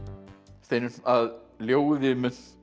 Steinunn að ljóði munt þú